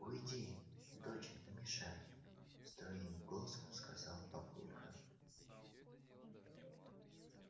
уйди доча не мешай строгим голосом сказал папулька